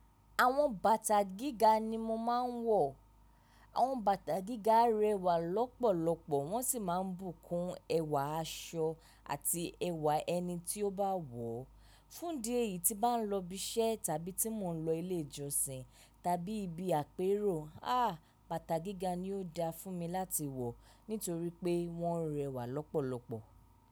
Àwọn bàtà gíga ni mo máa ń wọ̀. Àwọn bàtà gíga rẹwà lọ́pọ̀lọpọ̀ wọ́n sì máa ń bùkún ẹwà aṣọ àti ẹwà ẹni tí ó bá wọ̀. Fún idi eyi tí bá ń lọbi iṣẹ́ tàbí tí mò ń lọ ilé ìjọsìn tàbí ibi àpérò, aà bàtà gíga ni ó da fún mi láti wọ̀ nítorí pé wọ́n rẹwà lọ́pọ̀lọpọ̀.